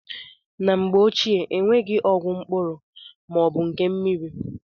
Na mgbe ochie, enweghị ọgwụ mkpụrụ ma ọ bụ nke mmiri.